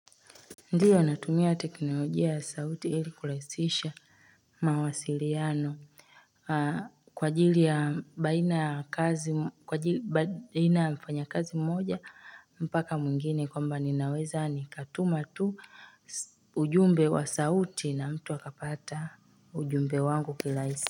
Ndiyo natumia teknolojia ya sauti ili kurahisisha. Mawasiliano kwa ajili ya baina ya mfanyakazi mmoja mpaka mwingine kwamba ninaweza nikatuma tu ujumbe wa sauti na mtu akapata ujumbe wangu kirahisi.